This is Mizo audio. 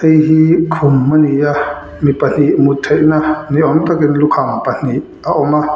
hei hi khum a ni a mi pahnih mut theihna ni awm takin lukham pahnih a awm a.